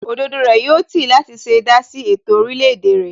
Òdodo rẹ̀ yóò tì í láti ṣe dásí ètò orílẹ̀ èdè rẹ̀